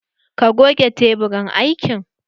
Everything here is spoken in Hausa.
Ka goge teburin aikin?